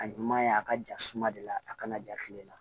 A ɲuman ye a ka ja suma de la a kana ja kile la